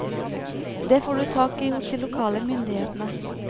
Det får du tak i hos de lokale myndighetene.